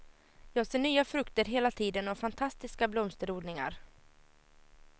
Jag ser nya frukter hela tiden och fantastiska blomsterodlingar.